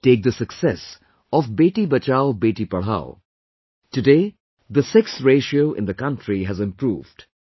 Take the success of 'Beti Bachao, Beti Padhao'... today the sex ratio in the country has improved